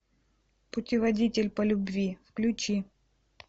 путеводитель по любви включи